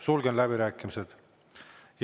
Sulgen läbirääkimised.